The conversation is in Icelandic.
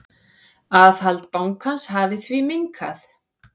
Aðhald bankans hafi því minnkað.